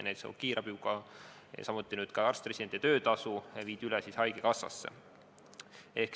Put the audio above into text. Näiteks viidi juba kiirabi ja nüüd viiakse arst-residentide töötasu rahastamine üle haigekassasse.